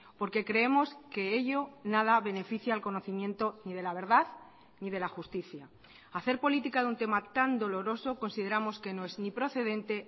porque creemos que ello nada beneficia al conocimiento ni de la verdad ni de la justicia hacer política de un tema tan doloroso consideramos que no es ni procedente